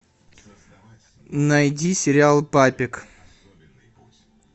найди сериал папик